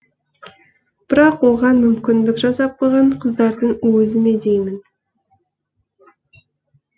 бірақ оған мүмкіндік жасап қойған қыздардың өзі ме деймін